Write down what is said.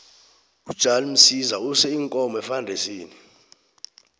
ujan msiza use iinkomo efandisini